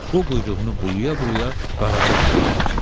O quyruğunu bulaya-bulaya Qaraca qıza yanaşdı.